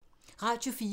Radio 4